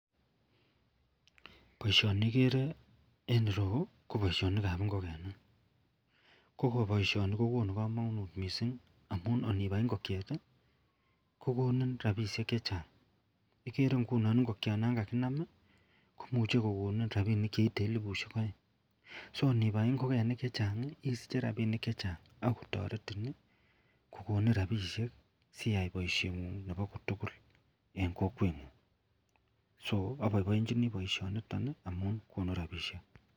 Baishoni igere en ireyu ko baishoniton ko Baishonik ab ingogenik kobaishoni kokonu kamanut mising amun onibai ingokiet kokonin rabinik chechang igere ingunon ingokiet nangaginamkomuche kokonin rabinik cheite elibushiek aeng ako nibai ingokenik chechang isiche rabinik chechang akotaretin kokonin rabishek siyai baishengun tugul en Kokwenyun.